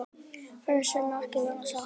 Það sem ekki verður sagt